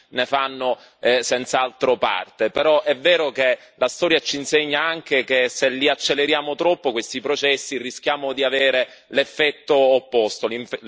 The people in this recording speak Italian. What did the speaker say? senz'altro parte, però è vero che la storia ci insegna anche che se li acceleriamo troppo questi processi, rischiamo di avere l'effetto opposto, l'effetto inverso.